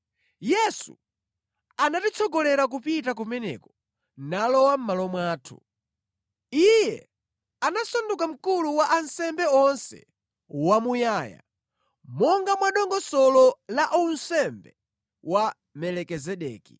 Yesu anatitsogolera kupita kumeneko, nalowako mʼmalo mwathu. Iye anasanduka Mkulu wa ansembe onse wamuyaya, monga mwa dongosolo la unsembe wa Melikizedeki.